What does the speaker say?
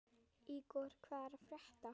Ígor, hvað er að frétta?